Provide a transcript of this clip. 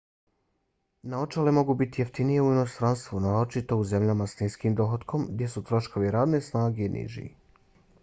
naočale mogu biti jeftinije u inostranstvu naročito u zemljama s niskim dohotkom gdje su troškovi radne snage niži